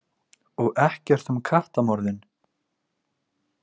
Og ekkert um kattamorðin?